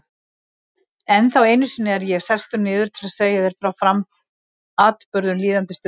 Ennþá einu sinni er ég sestur niður til að segja þér frá atburðum líðandi stundar.